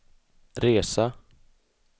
resa